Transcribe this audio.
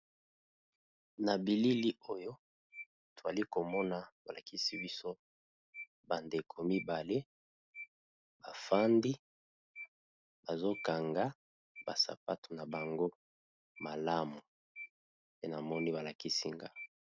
na bilili oyo twali komona balakisi biso bandeko mibale bafandi bazokanga basapato na bango malamu pe na moni balakisi nga